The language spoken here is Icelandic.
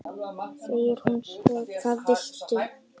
segir hún svo: Hvað viltu?